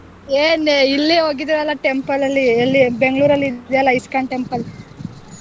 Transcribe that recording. ಏನೆ ಇಲ್ಲೇ ಹೋಗಿದ್ವಲ್ಲಾ temple ಅಲ್ಲಿ ಎಲ್ಲಿ Bangalore ಅಲ್ಲಿ ಇದಿಯಲ್ಲ ISKCON temple .